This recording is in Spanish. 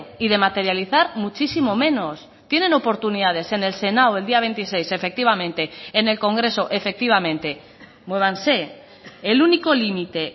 y de materializar muchísimo menos tienen oportunidades en el senado el día veintiséis efectivamente en el congreso efectivamente muévanse el único límite